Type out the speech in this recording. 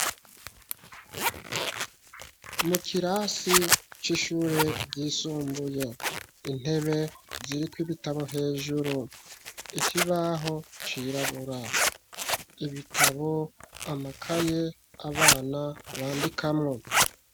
Mu kirasi c'ishure ryisumbuye, intebe, ziriko ibitabo hejuru; ikibaho cirabura, ibitabo, amakaye, abana bandikamwo.